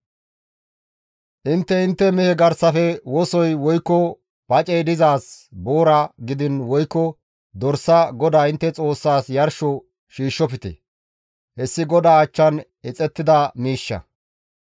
Intte intte mehe garsafe wosoy woykko pacey dizaaz boora gidiin woykko dorsa GODAA intte Xoossaas yarsho shiishshofte; hessi GODAA achchan ixettida miishsha.